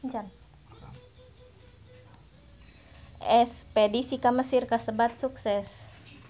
Espedisi ka Mesir kasebat sukses